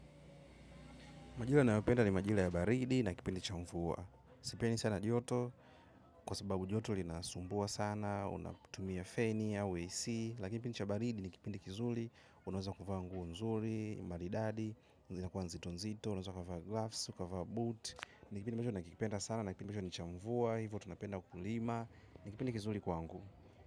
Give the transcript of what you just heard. Majira nayopenda ni majira ya baridi na kipindi cha mvua. Sipendi sana joto kwa sababu joto linasumbua sana, unapotumia feni au AC. Lakini kipindi cha baridi ni kipindi kizuli. Unaweza kuvaa nguo nzuri. Maridadi zinakuwa nzito nzito. Unaweza ukavaa gloves ukavaa boots. Ni kipindi ambacho nakipenda sana. Na ni kipindi ambacho ni cha mvua. Hivo tunapenda kulima. Ni kipindi kizuli kwangu.